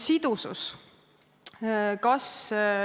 Sidusus.